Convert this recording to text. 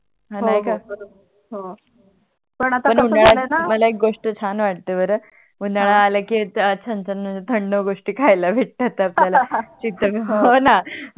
पण आता कस झाल आहे णा पण उनड्यात मला एक गोष्ट छान वाटते बर उनाडा आला की छान छान म्हणजे थंड गोष्टी ख्याला भेटतात आपल्या चित कमी व्हाव हो णा